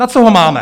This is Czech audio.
Na co ho máme?